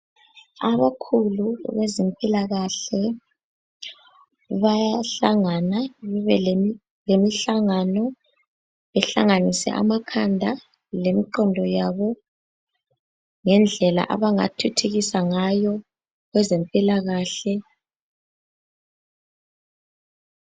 Abakhulu abezempilakahle bayahlangana bebe lemihlangano behlanganise amakhanda lemiqondo yabo ngendlela abangathuthukisa ngayo kwezempilakahle.